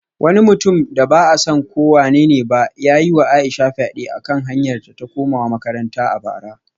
Wani mutum da ba a san ko wanene ba ya yi wa Aisha fyade a kan hanyarta ta komawa makaranta a bara